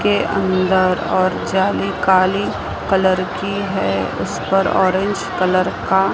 के अंदर और जाली काली कलर की है उस पर ऑरेंज कलर का--